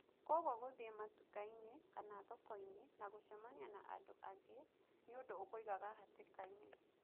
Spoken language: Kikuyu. Kwoguo guthie matuka-ini kana thoko-ini na gũcemania na andũ angĩ ni ũndũ ũkũigaga hatika-ini.